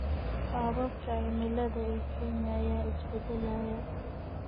Qaababka Cimilada ee Kenya ayaa isbedelaya.